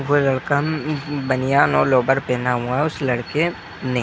वो लड़का बनियान और लोबर पहना हुआ हैं उस लड़के ने --